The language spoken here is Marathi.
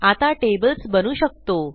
आता टेबल्स बनवू शकतो